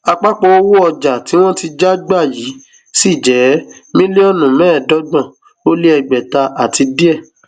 àpapọ owó ọjà tí wọn ti já gbà yìí ṣì jẹ mílíọnù mẹẹẹdọgbọn ó lé ẹgbẹta àti díẹ